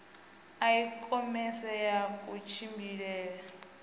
a i khomese ya kutshimbidzele